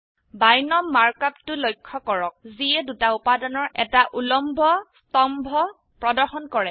বিনম মাৰ্ক অপটো লক্ষ্য কৰক যিয়ে দুটা উপাদানৰ এটা উল্লম্ব স্তম্ভ প্ৰদৰ্শন কৰে